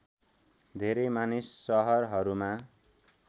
धेरै मानिस सहरहरूमा